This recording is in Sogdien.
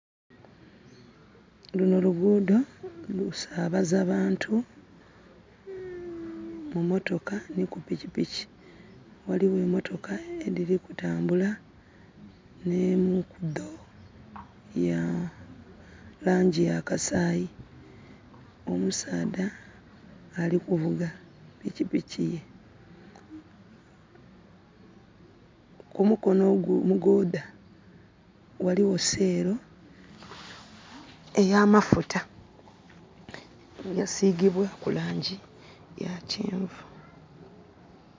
Luno lugudho lusabaza bantu mumotoka nhi kupikipiki. Ghaligho emotoka edhiri kutambula, nemu kudho ya langi yakasayi. Omusadha ali kuvuga pikipiki ye, kumukonho ogwo omugodha, ghalihho selo eya mafuta, yasigibwaku langi ya kyenvu.